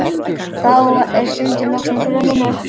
Þá er stundin loksins runninn upp.